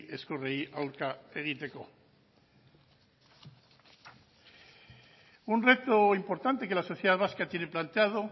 ezkurrei aurka egiteko un reto importante que la sociedad vasca tiene planteado